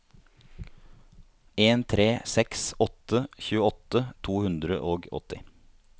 en tre seks åtte tjueåtte to hundre og åtti